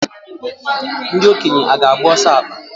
Ndị okenye aga-agba ọsọ akpa?